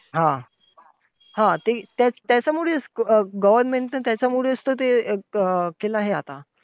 हा! हा, ते त्या त्याच्यामुळेच government चं तर त्याच्यामुळेच तर ते अं केलंय आता.